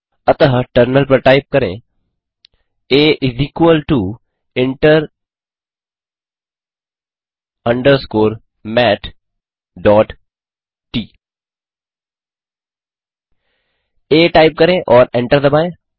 अतः टर्मिनल पर टाइप करें आ इंटर अंडरस्कोर matट आ टाइप करें और एंटर दबाएँ